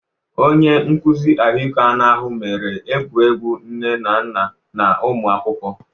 Onye nkuzi ahụike anụ ahụ mere egwuregwu nne na nna na ụmụ akwụkwọ.